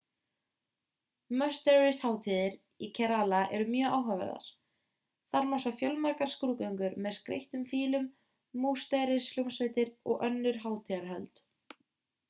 musterishátíðir í kerala eru mjög áhugaverðar þar má sjá fjölmargar skrúðgöngur með skreyttum fílum musterishljómsveitir og önnur hátíðarhöld